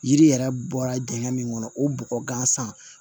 Yiri yɛrɛ bɔra dingɛ min kɔnɔ o bɔgɔ gansan